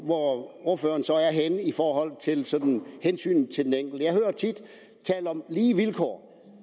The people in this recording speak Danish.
hvor ordføreren så er henne i forhold til sådan hensynet til den enkelte jeg hører tit tale om lige vilkår